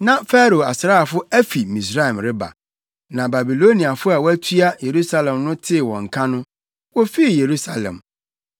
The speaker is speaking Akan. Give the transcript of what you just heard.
Na Farao asraafo afi Misraim reba, na Babiloniafo a wɔatua Yerusalem no tee wɔn nka no, wofii Yerusalem.